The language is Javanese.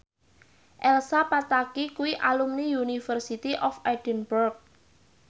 Elsa Pataky kuwi alumni University of Edinburgh